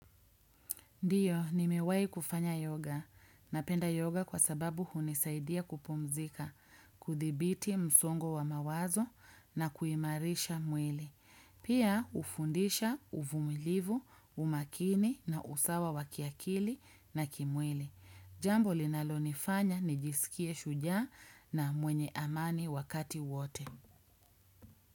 Ndiyo, nimewahi kufanya yoga. Napenda yoga kwa sababu hunisaidia kupumzika, kuthibiti msongo wa mawazo na kuimarisha mwili. Pia hufundisha uvumilivu, umakini na usawa wa kiakili na kimwili. Jambo linalonifanya nijisikie shujaa na mwenye amani wakati wote.